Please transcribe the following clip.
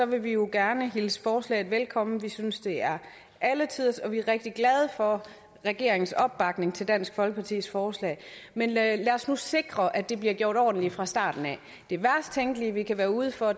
vil vi jo gerne hilse forslaget velkommen vi synes det er alle tiders og vi er rigtig glade for regeringens opbakning til dansk folkepartis forslag men lad os nu sikre at det bliver gjort ordentligt fra starten af det værst tænkelige vi kan komme ud for